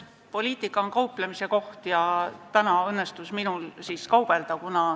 Poliitika on kauplemise koht ja täna õnnestus minul kaubelda.